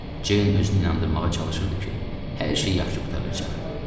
Ceyn özünü inandırmağa çalışırdı ki, hər şey yaxşı qurtaracaq.